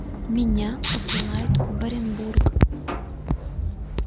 меня посылают в оренбург